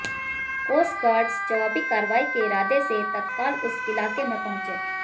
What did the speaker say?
coastguards जवाबी कार्रवाई के इरादे से तत्काल उस इलाके में पहुंचे